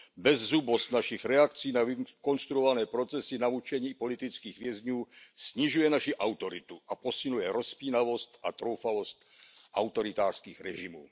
Bezzubost našich reakcí na vykonstruované procesy, na mučení politických vězňů snižuje naši autoritu a posiluje rozpínavost a troufalost autoritářských režimů.